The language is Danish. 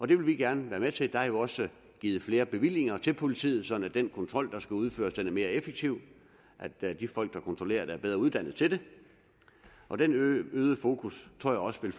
det vil vi gerne være med til og der er jo også givet flere bevillinger til politiet sådan at den kontrol der skal udføres bliver mere effektiv og at de folk der kontrollerer det er bedre uddannet til det og det øgede fokus tror jeg også vil